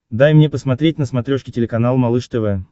дай мне посмотреть на смотрешке телеканал малыш тв